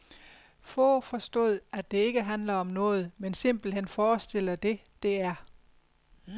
Få forstod, at det ikke handler om noget, men simpelthen forestiller det, det er.